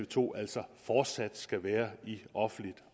to altså fortsat skal være i offentligt